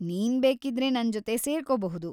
ನೀನ್ ಬೇಕಿದ್ರೆ ನನ್ಜೊತೆ ಸೇರ್ಕೋಬಹುದು.